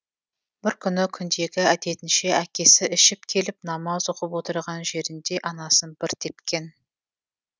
бір күні күндегі әдетінше әкесі ішіп келіп намаз оқып отырған жерінде анасын бір тепкен